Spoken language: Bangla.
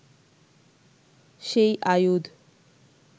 সেই আয়ুধ